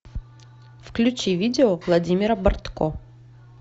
включи видео владимира бортко